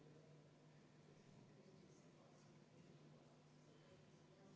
Kümme minutit ikka, jah?